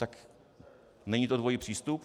Tak není to dvojí přístup?